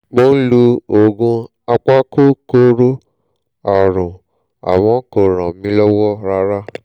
mo ń lo oògùn apakòkòrò ààrùn àmọ́ kò ràn mí lọ́wọ́ rárá